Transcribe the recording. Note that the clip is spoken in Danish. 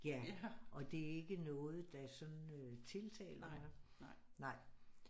Ja og det er ikke noget der sådan øh tiltaler mig nej